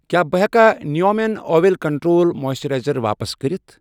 کیٛاہ بہٕ ہیٚکا نیٖویا مٮ۪ن اۄیل کنٹرٛول مویسثِرایزر واپس کٔرِتھ؟